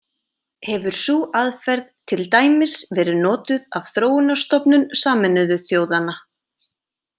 Hefur sú aðferð til dæmis verið notuð af Þróunarstofnun Sameinuðu þjóðanna.